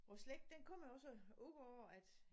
Vor slægt den kommer jo også op af at